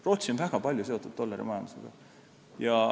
Rootsi on väga palju seotud dollarimajandusega.